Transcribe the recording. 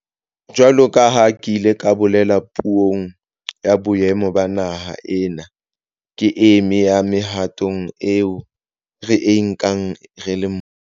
Jwalo ka ha ke ile ka bolela Puong ya Boemo ba Naha, ena ke e meng ya mehato eo re e nkang re le mmuso